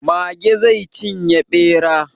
Mage zai cinye ɓera.